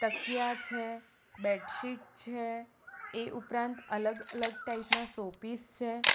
તકિયા છે બેડશીટ છે એ ઉપરાંત અલગ અલગ ટાઈપ ના શો પીસ છે.